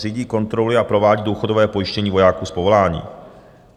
Řídí, kontroluje a provádí důchodové pojištění vojáků z povolání.